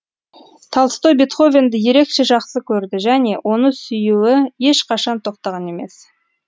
толстой бетховенді ерекше жақсы көрді және оны сүюі ешқашан тоқтаған емес